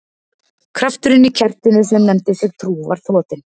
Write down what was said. Krafturinn í kertinu sem nefndi sig trú var þrotinn.